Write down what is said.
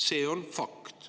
See on fakt.